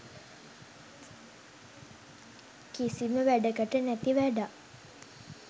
කිසිම වැඩකට නැති වැඩක්.